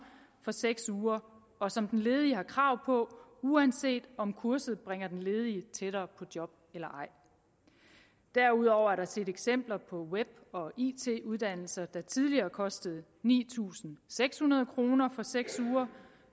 for seks uger og som den ledige har krav på uanset om kurset bringer den ledige tættere på job eller ej derudover er der set eksempler på web og it uddannelser der tidligere kostede ni tusind seks hundrede kroner for seks uger